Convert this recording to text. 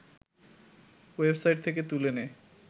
website থেকে তুলে নেয়